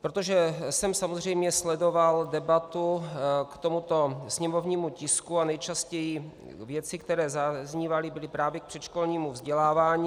Protože jsem samozřejmě sledoval debatu k tomuto sněmovnímu tisku, a nejčastější věci, které zaznívaly, byly právě k předškolnímu vzdělávání.